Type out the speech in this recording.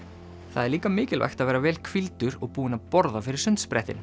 það er líka mikilvægt að vera vel hvíldur og búinn að borða fyrir